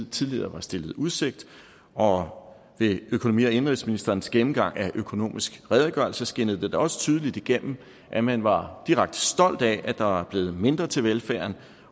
tidligere var stillet i udsigt og ved økonomi og indenrigsministerens gennemgang af økonomisk redegørelse skinnede det da også tydeligt igennem at man var direkte stolt af at der er blevet mindre til velfærden